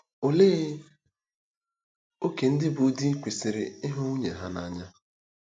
Olee ókè ndị bụ́ di kwesịrị ịhụ nwunye ha n’anya?